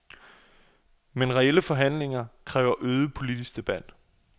Men reelle forandringer kræver øget politisk debat.